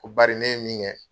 Ko bari ne ye min kɛ